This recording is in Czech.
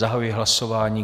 Zahajuji hlasování.